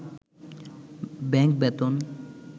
bank বেতন